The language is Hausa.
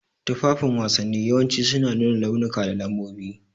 Tufafin wasanni yawanci suna nuna launuka da lambobi.